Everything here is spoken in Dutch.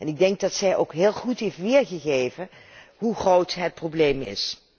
Ik denk dat zij ook heel goed heeft weergegeven hoe groot het probleem is.